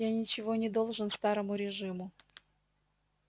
я ничего не должен старому режиму